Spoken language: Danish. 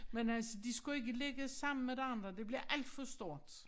Men altså de skulle ikke ligge sammen med de andre det bliver alt for stort